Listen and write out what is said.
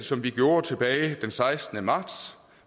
som vi gjorde tilbage den sekstende marts